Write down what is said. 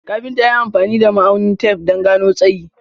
Kafinta ya yi amfani da ma'aunin tef don gano tsayi.